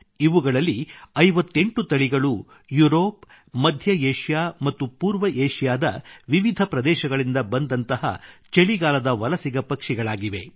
ಇವುಗಳಲ್ಲಿ 58 ತಳಿಗಳು ಯುರೋಪ್ ಮಧ್ಯ ಏಷ್ಯಾ ಮತ್ತು ಪೂರ್ವ ಏಷ್ಯಾದ ವಿವಿಧ ಪ್ರದೇಶಗಳಿಂದ ಬಂದಂತಹ ಚಳಿಗಾಲದ ವಲಸಿಗ ಪಕ್ಷಿಗಳಾಗಿವೆ